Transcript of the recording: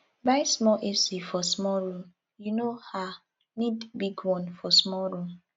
buy small ac for small room you no um need big one for small room